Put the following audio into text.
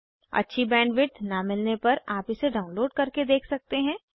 अच्छी बैंडविड्थ न मिलने पर आप इसे डाउनलोड करके देख सकते हैं